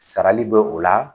Sarali be o la.